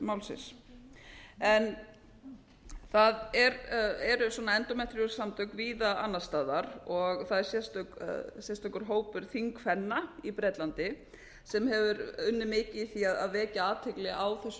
málsins það eru endometriosis samtök víða annars staðar og það er sérstakur hópur þingkvenna í bretlandi sem hefur unnið mikið í því að vekja athygli á þessum